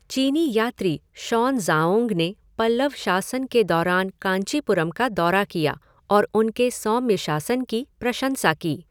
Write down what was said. चीनी यात्री शॉनज़ाओंग ने पल्लव शासन के दौरान कांचीपुरम का दौरा किया और उनके सौम्य शासन की प्रशंसा की।